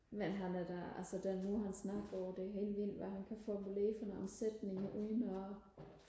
men han er da altså den måde han snakker på det er helt vildt hvad han kan formulere for nogle sætninger uden og